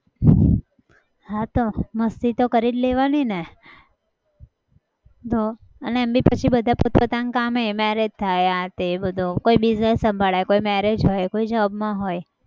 હા તો મસ્તી તો કરી જ લેવાનીને. તો એમ બી પછી બધા પોતપોતાના કામે marriage થાય આ તે બધું. કોઈ business સંભાળે કોઈ marriage હોય, કોઈ job માં હોય